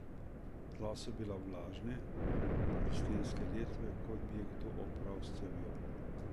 Tla so bila vlažna, tudi stenske letve, kot bi jih kdo opral s cevjo.